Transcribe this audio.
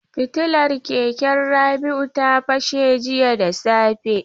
Fitilar keken Rabi'u ta fashe jiya da safe.